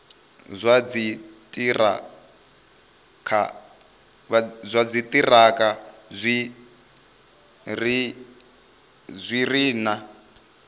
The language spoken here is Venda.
zwa dziṱhirakha zwi re na